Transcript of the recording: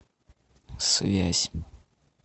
связь